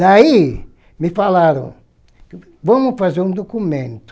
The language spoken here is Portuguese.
Daí me falaram, vamos fazer um documento.